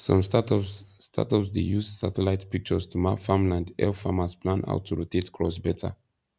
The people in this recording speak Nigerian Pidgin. some startups startups dey use satellite pictures to map farmland help farmers plan how to rotate crops better